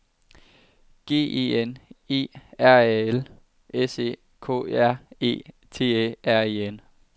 G E N E R A L S E K R E T Æ R E N